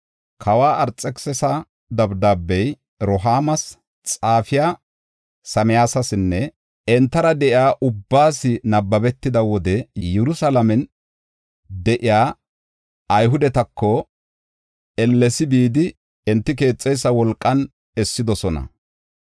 Kawa Arxekisisa dabdaabey Rehuumas, xaafiya Simsayasinne entara de7iya ubbaas nabbabetida wode Yerusalaamen de7iya Ayhudetako ellesi bidi, enti keexeysa wolqan essidosona.